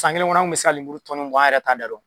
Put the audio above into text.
San kelen kɔnɔ an kun mɛ se ka lemuru tɔni mugan yɛrɛ ta